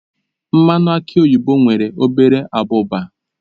Mmanụ aki oyibo nwere obere abụba.